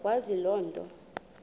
wazi loo nto